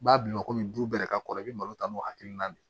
B'a bila komi du bɛɛ yɛrɛ ka kɔrɔ i bɛ malo ta n'o hakilina de ye